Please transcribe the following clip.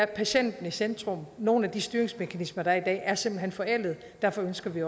patienten i centrum nogle af de styringsmekanismer der er i dag er simpelt hen forældede og derfor ønsker vi